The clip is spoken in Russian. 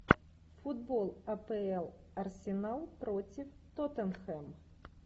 футбол апл арсенал против тоттенхэм